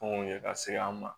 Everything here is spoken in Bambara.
ye ka se an ma